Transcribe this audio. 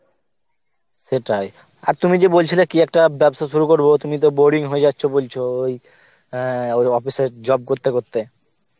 সেটাই, আর তুমি যে বলছিলে কি একটা ব্যবসা শুরু করব, তুমি তো boring হয়ে যাচ্ছো বলছ অ্যাঁ ওই office এর job করতে করতে